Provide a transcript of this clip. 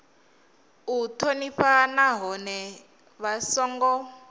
u thonifha nahone vha songo